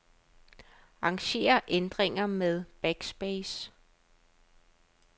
Arranger ændringer med backspace.